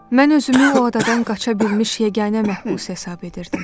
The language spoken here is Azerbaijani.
Mən özümü o adadan qaça bilmiş yeganə məhbus hesab edirdim.